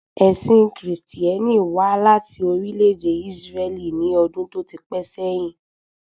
Ẹ̀sìn Kristẹni wà láti orílè èdè Isreli ni ọdún tó ti pẹ́ sẹ́yin